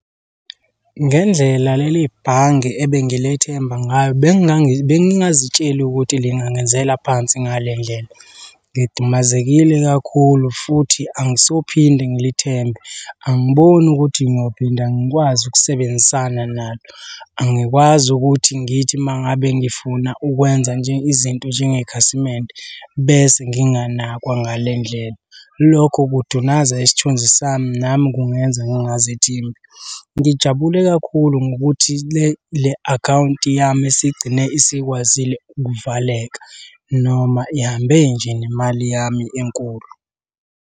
Ngendlela leli bhange ebengilethemba ngayo bengingazitsheli ukuthi lingangenzela phansi ngale ndlela. Ngidumazekile kakhulu futhi angisophinde ngilithembe. Angiboni ukuthi ngiyophinda ngikwazi ukusebenzisana nalo. Angikwazi ukuthi ngithi uma ngabe ngifuna ukwenza nje izinto njengekhasimende bese nginganakwanga ngale ndlela. Lokho kudunaza isithunzi sami nami kungenza ngingazithembi. Ngijabule kakhulu ngokuthi le akhawunti yami isigcine isikwazile ukuvaleka noma ihambe nje nemali yami enkulu.